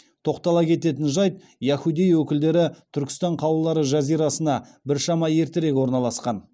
тоқтала кететін жайт яхудей өкілдері түркістан қалалары жазирасына біршама ертерек орналасқан